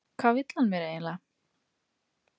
Hvað vill hann mér eiginlega?